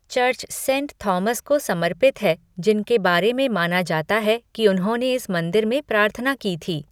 Church saint Thomas को समर्पित है जिनके बारे में माना जाता है कि उन्होंने इस मंदिर में प्रार्थना की थी।